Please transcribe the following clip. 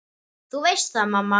Þú veist það, mamma.